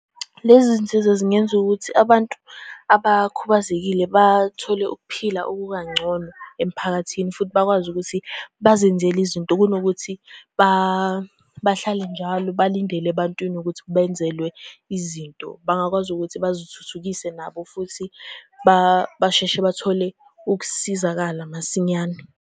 Lezi zinsiza zingenza ukuthi abantu abakhubazekile bathole ukuphila okukangcono emphakathini, futhi bakwazi ukuthi bazenzele izinto kunokuthi bahlale njalo balindele ebantwini ukuthi benzelwe izinto. Bangakwazi ukuthi bazithuthukise nabo futhi basheshe bathole ukusizakala masinyane.